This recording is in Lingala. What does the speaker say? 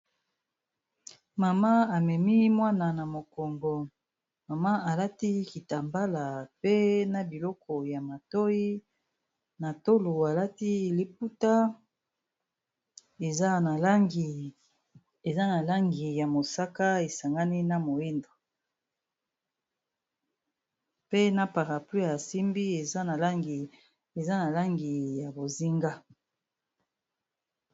Mama amemi mwana na mokongo mama alati kitambala pe na biloko ya matoyi na tolo alati liputa eza na langi ya mosaka esangani na moyindo pe na parapluie asimbi eza na langi ya bozinga.